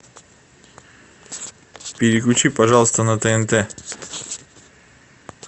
переключи пожалуйста на тнт